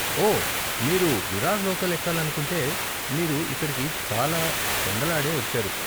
ఓ, మీరు విరార్ లోకల్ ఎక్కాలనుకుంటే, మీరు ఇక్కడికి చాలా పెందలాడే వచ్చారు.